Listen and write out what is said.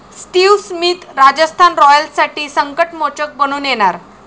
Steve Smith Rajasthan रॉयल्ससाठी संकटमोचक बनून येणार!